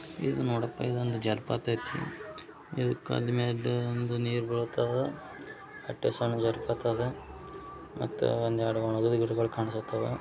ಇದು ನೋಡಪಾ ಇದು ಒಂದು ಜಲಪಾತ ಐತಿ ಇದು ಕಾಲ್ ಮ್ಯಾಗ ನೀರು ಬರುತಾವ ಅಸ್ಟೆ ಸಣ್ಣ ಜಲಪಾತ ಅದೇ ಮತ್ತೆ ಒಂದು ಎರಡು ಒಣಗಿದ ಗಿಡಗಳು ಕಾಣಿಸಲಾಕೆ ಹತಾವೆ.